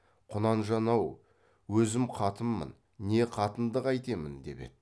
құнанжан ау өзім қатынмын не қатынды қайтемін деп еді